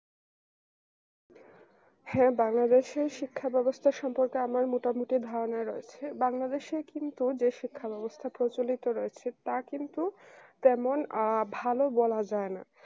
হ্যাঁ বাংলাদেশের শিক্ষা ব্যবস্থা সম্পর্কে আমার মোটামুটি ধারণা রয়েছে বাংলাদেশে কিন্তু যে শিক্ষা ব্যবস্থা প্রচলিত রয়েছে তা কিন্তু তেমন আ ভালো বলা যায় না